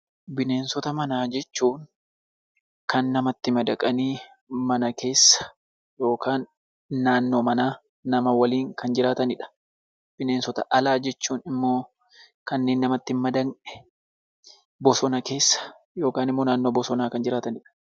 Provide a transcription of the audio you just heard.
Bineensota manaa jechuun kan namatti madaqanii mana keessa yookiin naannoo manaa nama waliin kan jiraatanidha. Bineensota alaa jechuun immoo kanneen namatti hin madaqne bosona keessa yookaan immoo naannoo bosonaa kan jiraatanidha.